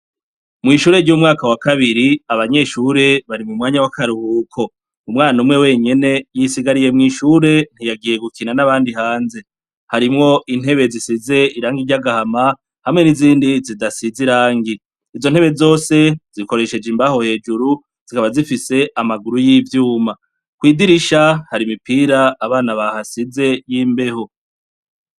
Mwishure ryo mwumwaka wakabiri ,abanyeshure bari mwanya wakaruhuko. Umwana umwe wenyene yisigariye mwishure ntiyagiye gukina nabandi bana hanze harimwo intebe zisize irangi ryagahama nizindi zidasize irangi izontebe zose zikoresheje imbaho hejuru zikaba zifise amaguru yivyuma kwidirisha hari imipira abana bahasize y'imbeho.